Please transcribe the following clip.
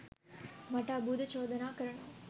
මට අභූත චෝදනා කරනවා